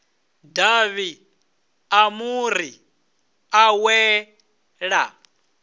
davhi ḽa muri ḽa wela